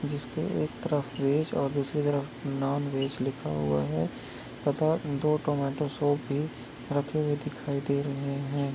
जिस पे एक तरफ वेज और दूसरी तरफ नॉन वेज लिखा हुआ है तथा दो टोमेटो सॉस भी रखे हुए दिखाई दे रहें हैं।